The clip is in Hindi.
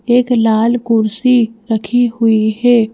एक लाल कुर्सी रखी हुई है।